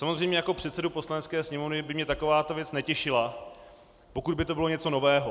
Samozřejmě jako předsedu Poslanecké sněmovny by mě takováto věc netěšila, pokud by to bylo něco nového.